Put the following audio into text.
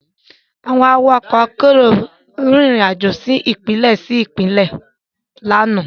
Àwọn awakọ̀ ọkọ akérò rìn rìn àjò lọ sí Ìpínlẹ̀ sí Ìpínlẹ̀ lánàá